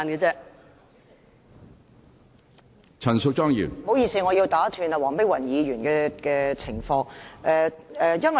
主席，不好意思，我要打斷黃碧雲議員的發言。